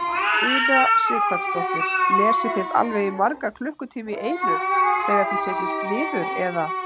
Una Sighvatsdóttir: Lesið þið alveg í marga klukkutíma í einu þegar þið setjist niður eða?